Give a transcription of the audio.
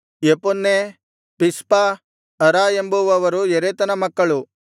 Jephunneh Pispa Ara ಎಂಬುವವರು ಯೆತೆರನ ಮಕ್ಕಳು